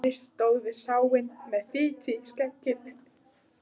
Ari stóð við sáinn með fitu í skegginu.